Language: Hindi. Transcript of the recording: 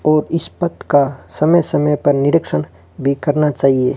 और इस पत का समय समय पर निरीक्षण भी करना चाहिए।